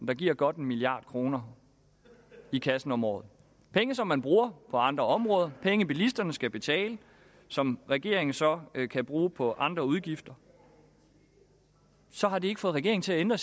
der giver godt en milliard kroner i kassen om året penge som man bruger på andre områder penge bilisterne skal betale og som regeringen så kan bruge på andre udgifter så har det ikke fået regeringen til at ændre